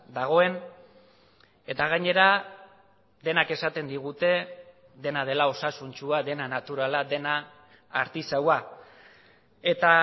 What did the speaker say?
dagoen eta gainera denak esaten digute dena dela osasuntsua dena naturala dena artisaua eta